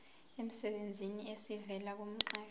emsebenzini esivela kumqashi